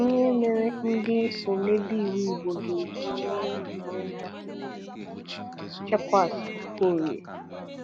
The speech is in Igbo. ihe mere ndị omebe iwu Igbo ga-eji mee onwe ha ihere - Chekwas Okorie.